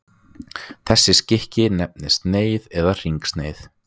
þessi skiki nefnist sneið eða hringsneið